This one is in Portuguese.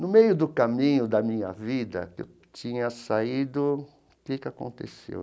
No meio do caminho da minha vida, eu tinha saído... O que que aconteceu?